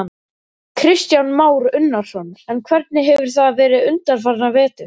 Kristján Már Unnarsson: En hvernig hefur það verið undanfarna vetur?